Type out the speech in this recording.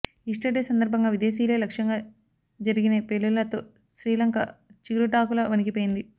Easter day సందర్భంగా విదేశీయులే లక్ష్యంగా జరిగినే పేలుళ్లతో శ్రీలంక చిగురుటాకులా వణికిపోయింంది